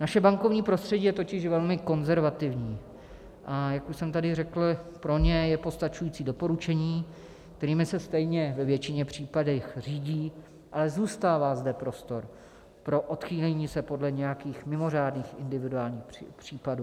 Naše bankovní prostředí je totiž velmi konzervativní, a jak už jsem tady řekl, pro ně je postačující doporučení, kterými se stejně ve většině případů řídí, ale zůstává zde prostor pro odchýlení se podle nějakých mimořádných individuálních případů.